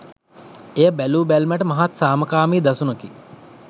එය බැලූබැල්මට මහත් සාමකාමී දසුනකි